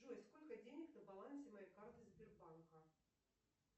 джой сколько денег на балансе моей карте сбербанка